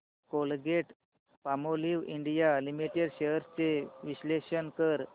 Colgate Palmolive India limited shares चे विश्लेषण कर